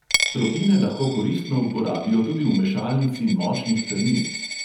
Tropine lahko koristno uporabijo tudi v mešalnici močnih krmil.